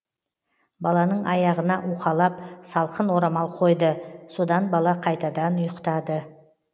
баланың аяғына уқалап салқын орамал қойды содан бала қайтадан ұйықтады